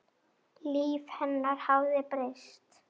Líf hennar hafði breyst.